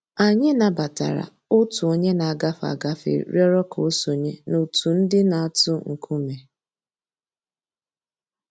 Anyị̀ nabatara Ọ̀tù ònyè nà-àgàfé àgàfé rị̀ọrọ̀ kà ò sọǹyé n'òtù ńdí nà-àtụ̀ ńkùmé̀